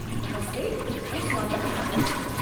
नमस्ते ऐं स्वागतु मैडमु।